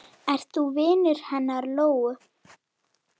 Ert þú vinur hennar Lóu?